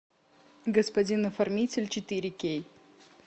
господин оформитель четыре кей